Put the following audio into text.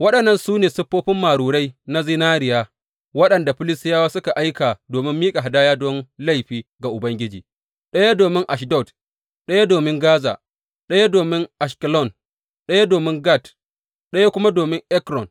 Waɗannan su ne siffofi marurai na zinariya waɗanda Filistiyawa suka aika domin miƙa hadaya don laifi ga Ubangiji, ɗaya domin Ashdod, ɗaya domin Gaza, ɗaya domin Ashkelon, ɗaya domin Gat, ɗaya kuma domin Ekron.